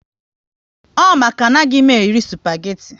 Ọ maka na anaghị m eri spageti